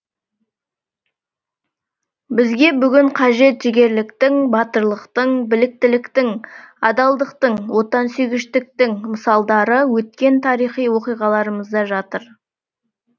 бізге бүгін қажет жігерліктің батырлықтың біліктіліктің адалдықтың отансүйгіштіктің мысалдары өткен тарихи оқиғаларымызда жатыр